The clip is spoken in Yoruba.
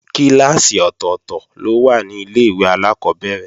Kíláàsì ọ̀tọ̀tọ̀ ló wà ní Ilé-ìwé alákọ́bẹ̀rẹ̀